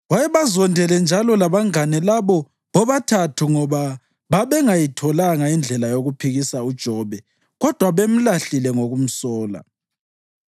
Wayebazondele njalo labangane labo bobathathu ngoba babengayitholanga indlela yokuphikisa uJobe kodwa bemlahlile ngokumsola.